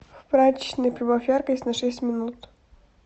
в прачечной прибавь яркость на шесть минут